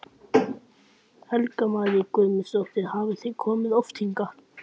Helga María Guðmundsdóttir: Hafið þið komið oft hingað?